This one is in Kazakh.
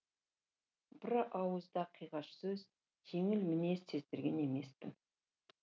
бір ауыз да қиғаш сөз жеңіл мінез сездірген емеспін